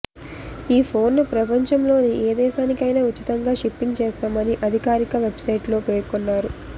ఈ ఫోన్ ను ప్రపంచంలోని ఏ దేశానికైనా ఉచితంగా షిప్పింగ్ చేస్తామని అధికారిక వెబ్ సైట్ లో పేర్కొన్నారు